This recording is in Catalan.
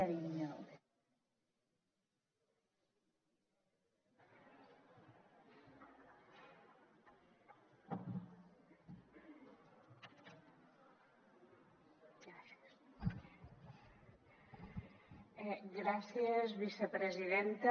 gràcies vicepresidenta